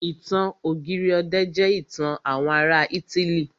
Ìtàn ọ̀gírì ọ̀dẹ̀ jẹ́ ìtàn àwọn ará ítílì.